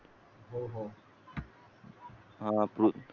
हा